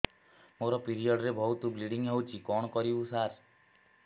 ମୋର ପିରିଅଡ଼ ରେ ବହୁତ ବ୍ଲିଡ଼ିଙ୍ଗ ହଉଚି କଣ କରିବୁ ସାର